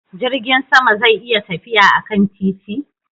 Jirgin sama zai iya tafiya akan titi?